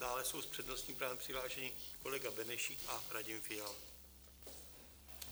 Dále jsou s přednostním právem přihlášeni kolega Benešík a Radim Fiala.